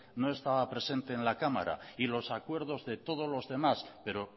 no estaba presente en la cámara y los acuerdos de todos los demás pero